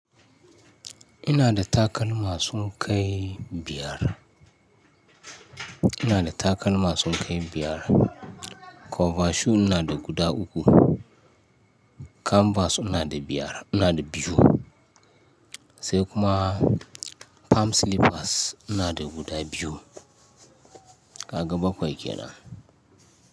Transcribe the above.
Ina da takalma sun kai biyar. Ina da takalma sun kai biyar. Cover shoe ina da guda uku. Canvas ina da biyar, ina da biyu. Sai kuma palm slippers ina da guda biyu. Kaga bakwai kenan.